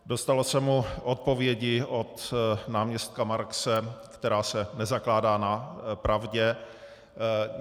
Dostalo se mu odpovědi od náměstka Markse, která se nezakládá na pravdě.